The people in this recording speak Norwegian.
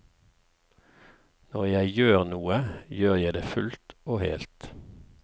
Når jeg gjør noe, gjør jeg det fullt og helt.